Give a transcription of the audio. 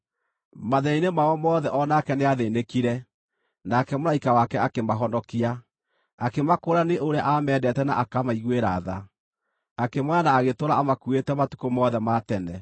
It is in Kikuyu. Mathĩĩna-inĩ mao mothe o nake nĩathĩĩnĩkire, nake mũraika wake akĩmahonokia. Akĩmakũũra nĩ ũrĩa aamendete na akamaiguĩra tha, akĩmooya na agĩtũũra amakuuĩte matukũ mothe ma tene.